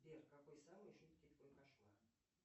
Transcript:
сбер какой самый жуткий твой кошмар